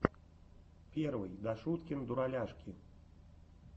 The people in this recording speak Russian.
первый дашуткин дураляшки